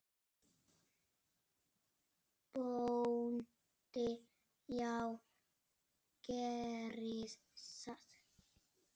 BÓNDI: Já, gerið það.